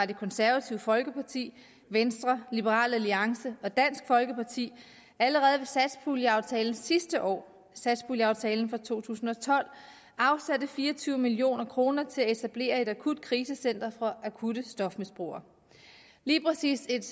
det konservative folkeparti venstre liberal alliance og dansk folkeparti allerede ved satspuljeaftalen sidste år satspuljeaftalen for to tusind og tolv afsatte fire og tyve million kroner til at etablere et akutkrisecenter for akutte stofmisbrugere lige præcis et